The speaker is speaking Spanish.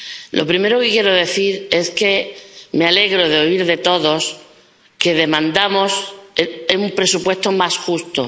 Lo primero que quiero decir es que me alegro de oír de todos que demandamos un presupuesto más justo.